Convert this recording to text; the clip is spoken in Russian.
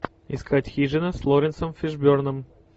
искать хижина с лоуренсом фишберном